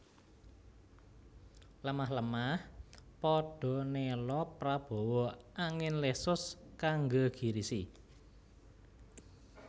Lemah lemah padha nela prabawa angin lesus kang nggegirisi